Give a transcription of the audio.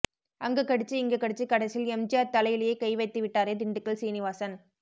அங்க கடிச்சு இங்க கடிச்சு கடைசியில் எம்ஜிஆர் தலையிலேயே கை வைத்து விட்டாரே திண்டுக்கல் சீனிவாசன்